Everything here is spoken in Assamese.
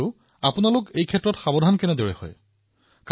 কিন্তু তথাপিও এই লেব টেকনিচিয়ানৰ কামটো সাধাৰণ সংযোগৰ ভিতৰত এটা